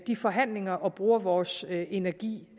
de forhandlinger og bruger vores energi